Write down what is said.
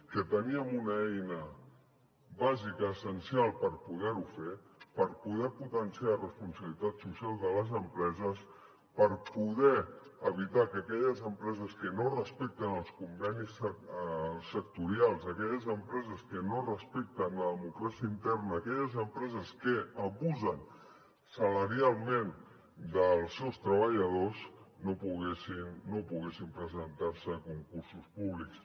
que teníem una eina bàsica essencial per poder ho fer per poder potenciar la responsabilitat social de les empreses per poder evitar que aquelles empreses que no respecten els convenis sectorials aquelles empreses que no respecten la democràcia interna aquelles empreses que abusen salarialment dels seus treballadors no poguessin presentar se a concursos públics